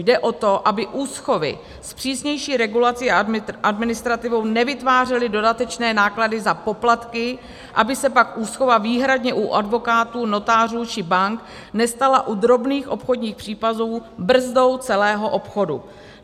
Jde o to, aby úschovy s přísnější regulací a administrativou nevytvářely dodatečné náklady za poplatky, aby se pak úschova výhradně u advokátů, notářů či bank nestala u drobných obchodních případů brzdou celého obchodu.